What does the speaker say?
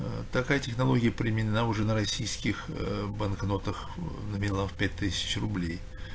аа такая технология применена уже на российских банкнотах номиналом в пять тысяч рублей